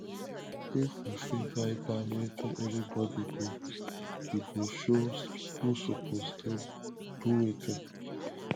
if we fit write down wetin everybody go e go show who suppose dey do wetin